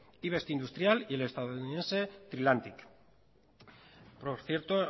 investindustrial y el estadounidense trilantic por cierto